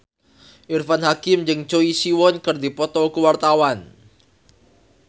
Irfan Hakim jeung Choi Siwon keur dipoto ku wartawan